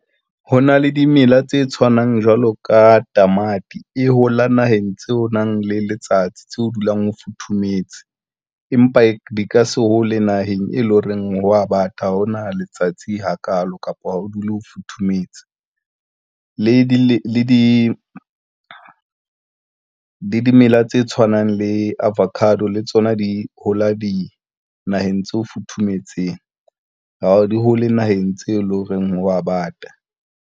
Ho na le dimela tse tshwanang jwalo ka tamati e hola naheng tseo o nang le letsatsi tseo ho dulang ho futhumetse, empa di ka se hole naheng e leng horeng ho a bata ha hona letsatsi hakalo kapa o dule o futhumetse. Le dimela tse tshwanang le avocado le tsona di hola dinaheng tse futhumetseng, ha di hole naheng tse leng horeng hwa bata.